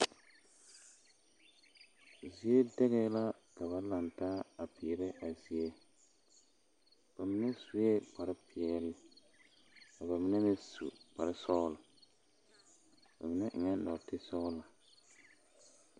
Zie dɛgɛɛ la ka ba laŋ taa a peerɛ a zie ba mine sue kpare peɛle ka ba mine meŋ su kpare sɔglɔba ba mine nɔɔte sɔglɔ.